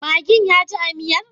Maggin yaji a miyar?